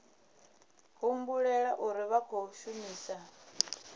humbulela uri vha khou shumisa